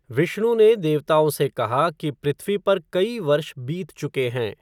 विष्णु ने देवताओं से कहा कि पृथ्वी पर कई वर्ष बीत चुके हैं।